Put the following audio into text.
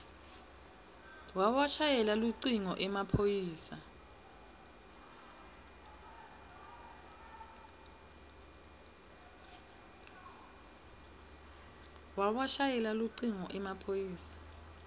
wawashayela lucingo emaphoyisa